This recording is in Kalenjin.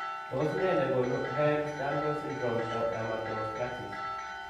Tos nee negonu Ehlers Danlos syndrome, dermatosparaxis ?